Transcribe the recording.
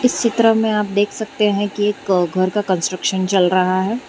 इस चित्र मे आप देख सकते है की एक घर का कंस्ट्रक्शन चल रहा है।